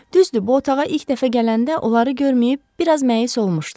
Düzdür, bu otağa ilk dəfə gələndə onları görüb bir az məyus olmuşdum.